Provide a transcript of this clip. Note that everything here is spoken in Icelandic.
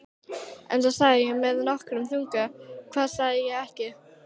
Enda sagði ég með nokkrum þunga: Hvað sagði ég ekki?